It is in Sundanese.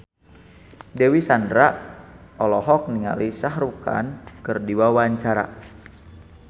Dewi Sandra olohok ningali Shah Rukh Khan keur diwawancara